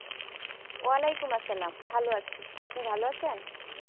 ওয়ালাইকুম আসসালাম ভালো আছি, আপনি ভালো আছেন?